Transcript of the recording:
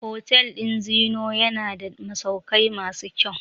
Hotel ɗin Zeennoor yana da masaukai masu kyau.